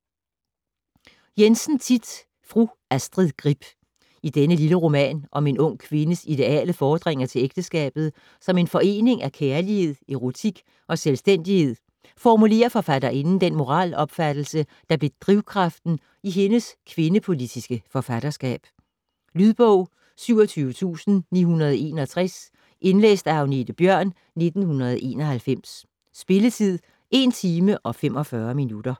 Jensen, Thit: Fru Astrid Grib I denne lille roman om en ung kvindes ideale fordringer til ægteskabet som en forening af kærlighed, erotik og selvstændighed formulerer forfatterinden den moralopfattelse, der blev drivkraften i hendes kvindepolitiske forfatterskab. Lydbog 27961 Indlæst af Agnethe Bjørn, 1991. Spilletid: 1 timer, 45 minutter.